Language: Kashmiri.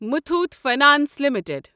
Muthoot finance limited